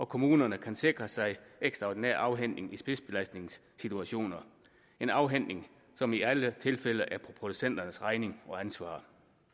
kommunerne kan sikre sig ekstraordinær afhentning i spidsbelastningssituationer en afhentning som i alle tilfælde er for producenternes regning og ansvar